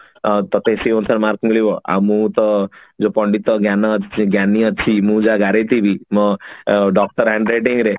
ଆଉ ତତେ ସିଏ ଅନୁସାରେ mark ମିଳିବ ଆଉ ମୁଁ ତ ଯୋଉ ପଣ୍ଡିତ ଜ୍ଞାନ ଯୋଉ ଜ୍ଞାନୀ ଅଛି ମୁଁ ଯାହା ଗାରେଇଥିବି ମୋ ଓ doctor handwriting ରେ